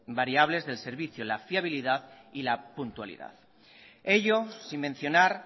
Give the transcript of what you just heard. variables del servicio la fiabilidad y la puntualidad ello sin mencionar